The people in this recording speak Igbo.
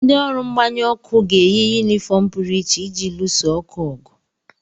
Ndị ọrụ mgbanyụ ọkụ ga-eyi yunifọọm pụrụ iche iji luso ọkụ ọgụ.